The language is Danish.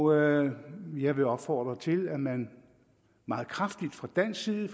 og jeg vil jeg vil opfordre til at man meget kraftigt fra dansk side